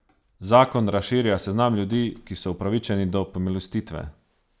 Zakon razširja seznam ljudi, ki so upravičeni do pomilostitve.